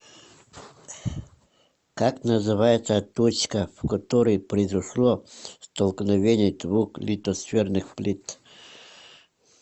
как называется точка в которой произошло столкновение двух литосферных плит